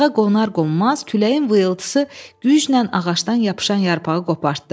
Budağa qonar-qonmaz küləyin vıyıltısı güclə ağacdan yapışan yarpağı qopardı.